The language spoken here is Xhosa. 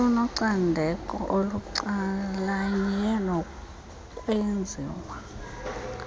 olunocandeko olucalanye kunokwenziwa